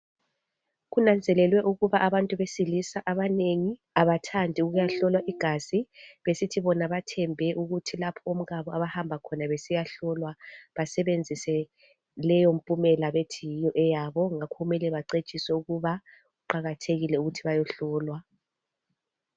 Kutholakale ukuthi inengi lesilisa alithandi kuyahlola igazi bethembe ukuba omkabo bengayahlola basebenzise leyo mpumela yabo ngakho kumele becitshwe ukuthi kuqakathekile ukuthi bayehlolwa.